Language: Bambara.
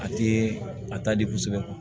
A tɛ a ta di kosɛbɛ